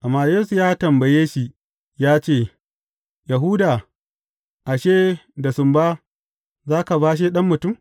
Amma Yesu ya tambaye shi ya ce, Yahuda, ashe, da sumba za ka bashe Ɗan Mutum?